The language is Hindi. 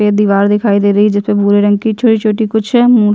ये दिवार दिखाई दे रही है जिसमे भूरे रंग की छोटी - छोटी कुछ मु --